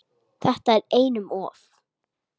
Þetta er einum of